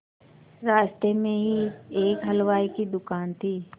रास्ते में ही एक हलवाई की दुकान थी